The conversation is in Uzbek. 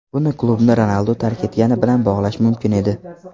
Buni klubni Ronaldu tark etgani bilan bog‘lash mumkin edi.